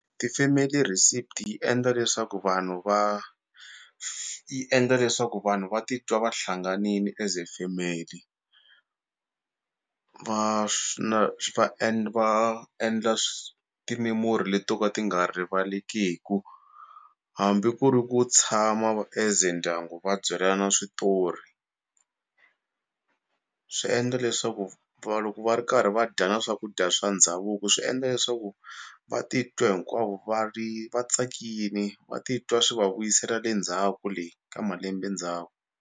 Ti-family receipt yi endla leswaku vanhu va yi endla leswaku vanhu va titwa va hlanganini as a family na va va endla ti-memory leto ka ti nga rivalekiku hambi ku ri ku tshama as a ndyangu va byelana switori swi endla leswaku va loko va ri karhi va dya na swakudya swa ndhavuko swi endla leswaku va titwa hinkwavo va ri vatsakini va titwa swi va vuyisela le ndzhaku le ka malembe ndzhaku.